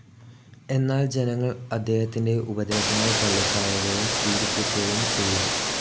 എന്നാൽ ജനങ്ങൾ അദ്ദേഹത്തിന്റെ ഉപദേശങ്ങൾ തള്ളിക്കളയുകയും പീഡിപ്പിക്കുകയും ചെയ്തു.